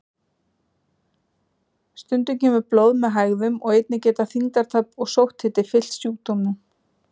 Stundum kemur blóð með hægðum og einnig geta þyngdartap og sótthiti fylgt sjúkdómnum.